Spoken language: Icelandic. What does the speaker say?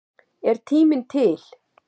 Er tíminn til?